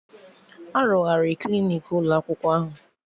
Arụgharị Klinik ụlọ akwụkwọ ahụ